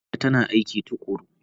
Amina tana aiki tukuru.